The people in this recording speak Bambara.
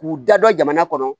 K'u da dɔ jamana kɔnɔ